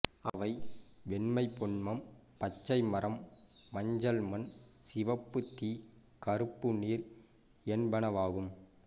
அவை வெண்மை பொன்மம் பச்சை மரம் மஞ்சள் மண் சிவப்பு தீ கறுப்பு நீர் என்பனவாகும்